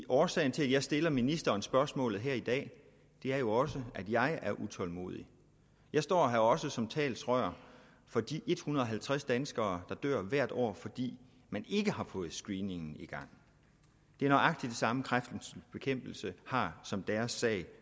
årsagen til at jeg stiller ministeren spørgsmålet her i dag er jo at også jeg er utålmodig jeg står her også som talerør for de en hundrede og halvtreds danskere der hvert år fordi man ikke har fået screeningen i gang det er nøjagtig det samme kræftens bekæmpelse har som deres sag